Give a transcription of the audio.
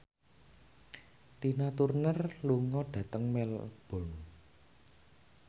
Tina Turner lunga dhateng Melbourne